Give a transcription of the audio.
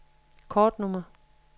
kortnummer